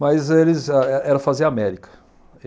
Mas eles ah e era fazer América.